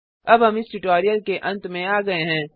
httpspoken tutorialorgNMEICT Intro अब हम इस ट्यूटोरियल के अंत में आ गये हैं